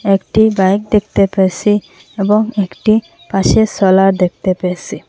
একটি বাইক দেখতে পেয়েসি এবং একটি পাশে সোলার দেখতে পেয়েসি ।